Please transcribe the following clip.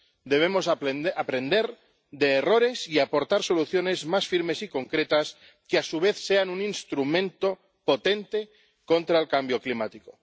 Debemos aprender de errores y aportar soluciones más firmes y concretas, que a su vez sean un instrumento potente contra el cambio climático.